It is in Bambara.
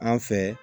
An fɛ